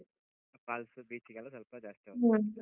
Parks beach ಗೆಲ್ಲ ಸ್ವಲ್ಪ ಜಾಸ್ತಿ ಹೋಗ್ತಿರಿ.